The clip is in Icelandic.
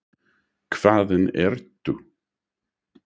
Hvaðan ertu?